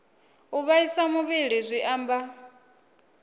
u vhaisa muvhili zwi amba